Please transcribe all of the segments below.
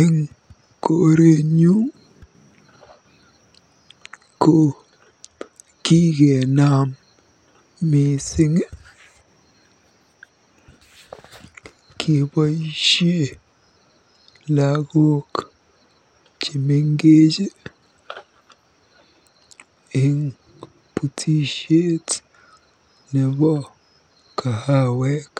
Eng korenyun ko kikenam mising keboisie lagook chemengech eng butisiet nebo kahawek.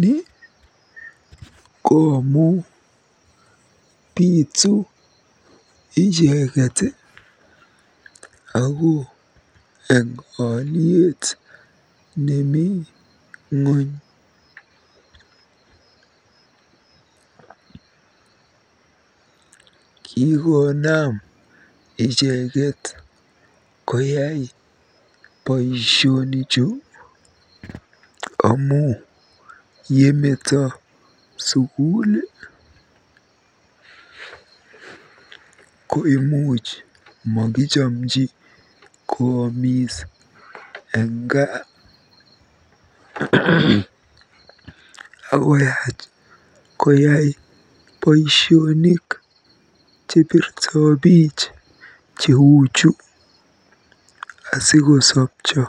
Ni ko amu bitu icheket ako eng olyet nemi ng'ony. Kikonam icheket koyai boisionichu amu ye meto sukul ko imuch makichomchi koomis eng gaa akoyach koyai boisionik chebirtobich cheuchu, asikosopcho.